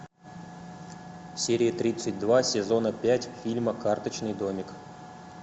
серия тридцать два сезона пять фильма карточный домик